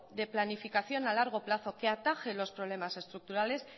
de planificación a largo plazo que ataje los problemas estructurales